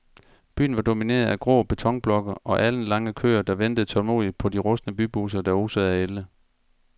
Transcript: Byen var domineret af grå betonblokke og alenlange køer, der ventede tålmodigt på de rustne bybusser, der osede af ælde.